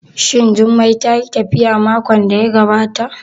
Shin Jummai tayi tafiya makon da ya gabata?